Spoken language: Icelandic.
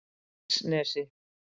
Dilksnesi